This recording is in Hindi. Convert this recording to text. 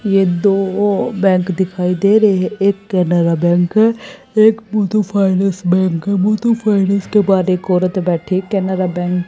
ये दो ओ बैंक दिखाई दे रहे है एक केनरा बैंक है एक मुथूट फाइनेंस बैंक है मुथूट फाइनेंस के बाद एक और बैठी है केनरा बैंक --